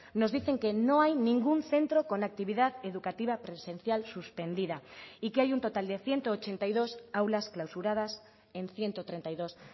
nos dicen que no hay ningún centro con actividad educativa presencial suspendida y que hay un total de ciento ochenta y dos aulas clausuradas en ciento treinta y dos